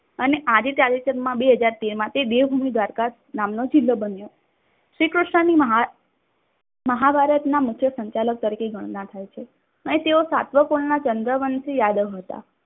અને આજે તાજેતરમાં બે હજાર તેરમા તે દેવભૂમિ દ્વારકા નામનો જિલ્લો બન્યો. શ્રી કૃષ્ણની મહાભારતના મુખ્ય સંચાલન તરીકે ગણના થાય છે. એ તેઓ સાતવકપૂર્ણ ના ચંદ્રવંશી યાદવ હતા.